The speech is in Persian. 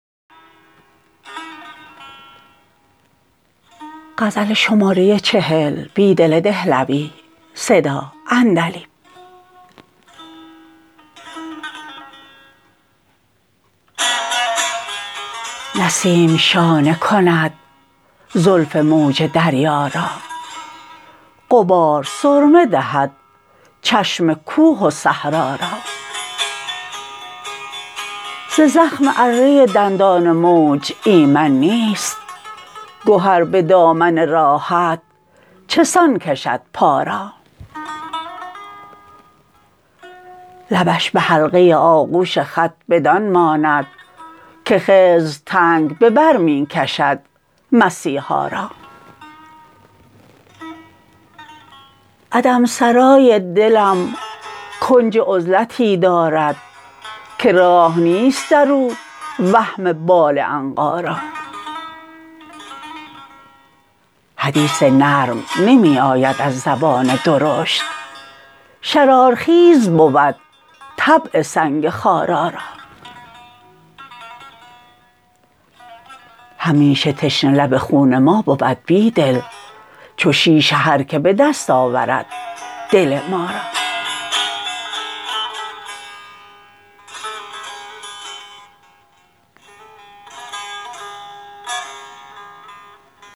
نسیم شانه کند زلف موج دریا را غبار سرمه دهد چشم کوه و صحرا را ز زخم اره دندان موج ایمن نیست گهر به دامن راحت چه سان کشد پا را لبش به حلقه آغوش خط بدان ماند که خضر تنگ به بر می کشد مسیحا را عدم سرای دلم کنج عزلتی دارد که راه نیست در او وهم بال عنقا را حدیث نرم نمی آید از زبان درشت شرارخیز بود طبع سنگ خارا را همیشه تشنه لب خون ما بود بیدل چو شیشه هرکه به دست آورد دل ما را